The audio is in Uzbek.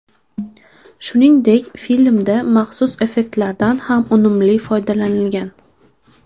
Shuningdek, filmda maxsus effektlardan ham unumli foydalanilgan.